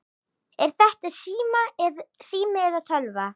Er þetta sími eða spjaldtölva?